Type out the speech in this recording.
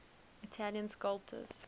italian sculptors